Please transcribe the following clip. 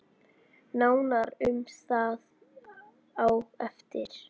Nánar um það á eftir.